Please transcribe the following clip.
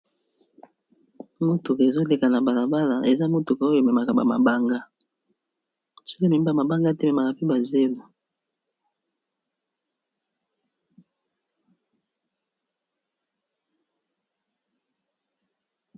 Motuka ezo leka na bala bala eza motuka oyo ememaka ba mabanga, soki ememi mabanga te ememaka pe ba zelo.